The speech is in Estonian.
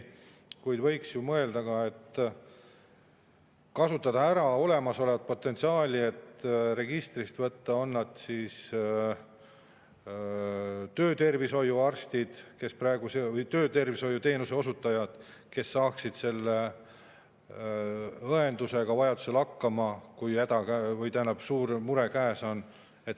Kuid võiks ju mõelda ka sellele, et kasutada ära olemasolevat potentsiaali ja registri alusel võtta töötervishoiuarste või töötervishoiuteenuse osutajaid, kes saaksid õendus hakkama, kui häda või suur mure käes on.